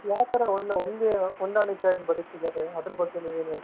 ಯಾವ್ ತರ ಒಂದ್ ಒಂದು ಹೊಂದಾಣಿಕೆಯಾಗಿ ಬದುಕ್ತಿದ್ದಾರೆ ಅದರ ಬಗ್ಗೆ ನೀವ್ ಏನ್ ಹೇಳ್ತೀರ .